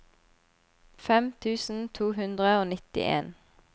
fem tusen to hundre og nittien